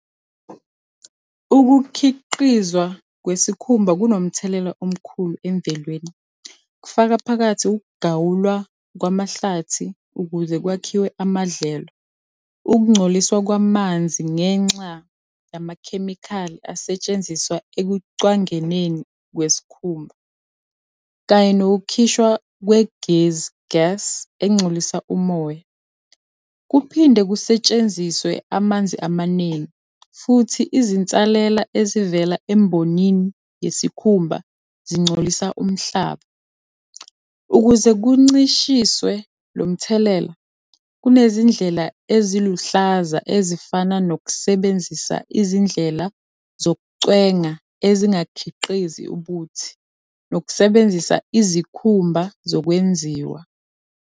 Ukukhiqizwa kwesikhumba kunomthelela omkhulu emvelweni, kufaka phakathi ukugawulwa kwamahlathi ukuze kwakhiwe amadlelo. Ukungcoliswa kwamanzi ngenxa yamakhemikhali asetshenziswa ekucwangeneni kwesikhumba, kanye nokukhishwa kwegezi, gas, engcolisa umoya. Kuphinde kusetshenziswe amanzi amaningi, futhi izinsalela ezivela embonini yesikhumba zingcolisa umhlaba. Ukuze kuncishiswe lo mthelela, kunezindlela eziluhlaza ezifana nokusebenzisa izindlela zokucwenga ezingakhiqizi ubuthi, nokusebenzisa izikhumba zokwenziwa.